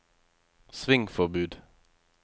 svingforbud